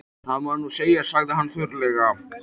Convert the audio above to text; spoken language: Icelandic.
Það má nú segja, sagði hann þurrlega.